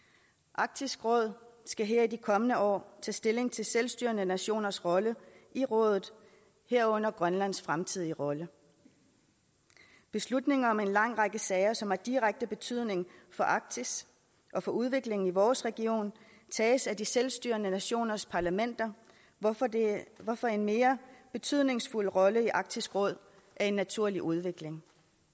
arktisk råd skal her i de kommende år tage stilling til selvstyrende nationers rolle i rådet herunder grønlands fremtidige rolle beslutninger om en lang række sager som har direkte betydning for arktis og for udviklingen i vores region tages af de selvstyrende nationers parlamenter hvorfor hvorfor en mere betydningsfuld rolle i arktisk råd er en naturlig udvikling